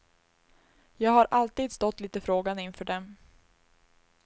Jag har alltid stått lite frågande inför dem.